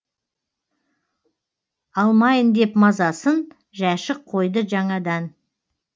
алмайын деп мазасын жәшік қойды жаңадан